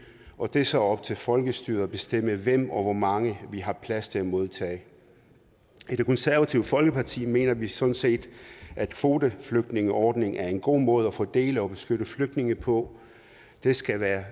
og det er så op til folkestyret at bestemme hvem og hvor mange vi har plads til at modtage i det konservative folkeparti mener vi sådan set at kvoteflygtningeordningen er en god måde at fordele og beskytte flygtninge på det skal være